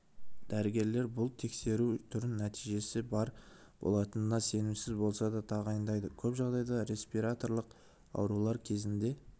дәрігерлер бұл тексеру түрін нәтижесі бар болатынына сенімсіз болса да тағайындайды көп жағдайда респираторлық аурулар кезінде